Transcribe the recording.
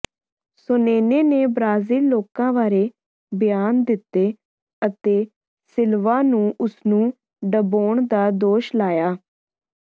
Sonnen ਨੇ ਬ੍ਰਾਜ਼ੀਲੀ ਲੋਕਾਂ ਬਾਰੇ ਬਿਆਨ ਦਿੱਤੇ ਅਤੇ ਸਿਲਵਾ ਨੂੰ ਉਸਨੂੰ ਡਬੋਣ ਦਾ ਦੋਸ਼ ਲਾਇਆ